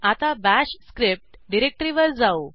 आता bash script डिरेक्टरीवर जाऊ